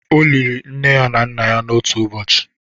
O liri nne ya na nna ya n'otu ụbọchị.